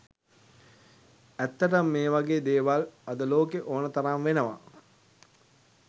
ඇත්තටම මේ වගේ දේවල් අද ලෝකෙ ඕන තරම් වෙනවා